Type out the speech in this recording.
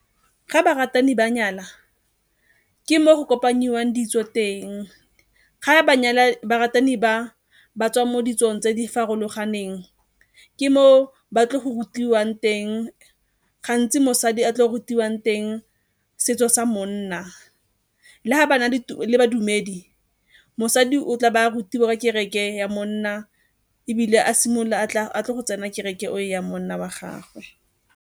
Ga baratani ba nyala ke mo go kopanyiwang ditso teng. Ga baratani ba ba tswang mo ditsong tse di farologaneng, ke moo ba tlo go rutiwang teng, gantsi mosadi a tlo rutiwang teng setso sa monna. Le ga ba na le badumedi, mosadi o tla ba a rutiwa kereke ya monna ebile a simolola go tsena kereke eo ya monna wa gagwe.